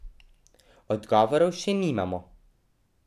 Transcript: Odgovorov še nimamo.